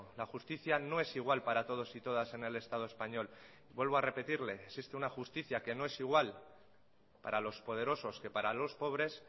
la justicia no es igual para todos y todas en el estado español vuelvo a repetirle existe una justicia que no es igual para los poderosos que para los pobres